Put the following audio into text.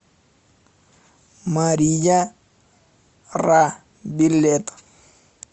мария ра билет